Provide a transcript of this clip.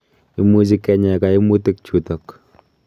Imuchi kenya kaimutik chutok